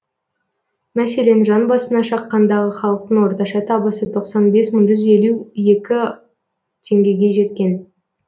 мәселен жан басына шаққандағы халықтың орташа табысы тоқсан бес мың жүз елу екі теңгеге жеткен